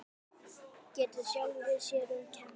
Getur sjálfri sér um kennt.